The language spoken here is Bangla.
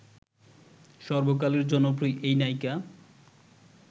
সর্বকালের জনপ্রিয় এই নায়িকা